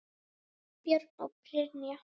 Björn og Brynja.